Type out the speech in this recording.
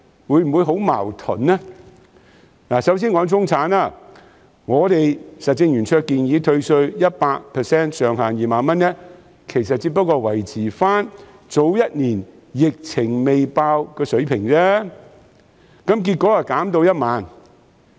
我首先說中產，我們實政圓桌建議退稅 100%， 上限2萬元，這只是維持去年爆發疫情前的水平，但結果被減至1萬元。